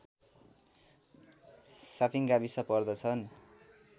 shopping गाविस पर्दछन्